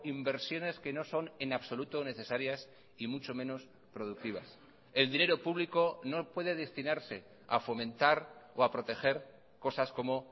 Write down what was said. inversiones que no son en absoluto necesarias y mucho menos productivas el dinero público no puede destinarse a fomentar o a proteger cosas como